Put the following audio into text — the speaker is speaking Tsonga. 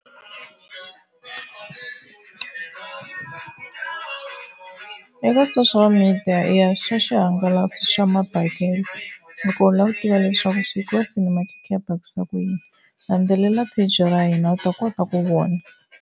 Eka social media i ya swa xihangalasi swa mabekelo, loko u lava ku tiva leswaku swikotsi na makhekhe ya bakisiwa ku yini landzelela page ra hina u ta kota ku vona.